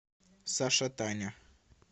саша таня